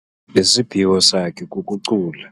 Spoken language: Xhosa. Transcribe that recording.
Isiphiwo sakhe kukucula.